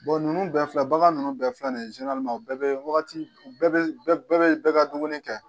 ninnu bɛɛ filɛ bagan ninnu bɛɛ filɛ nin ye u bɛɛ bɛ wagati u bɛɛ bɛ bɛɛ bɛ bɛɛ ka duguni kɛ.